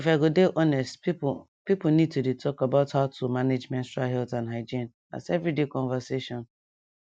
if i go dey honest people people need to dey talk about how to manage menstrual health and hygiene as everyday conversation